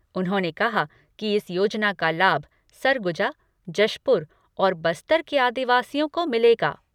उन्होंने कहा कि इस योजना का लाभ सरगुजा, जशपुर और बस्तर के आदिवासियों को मिलेगा।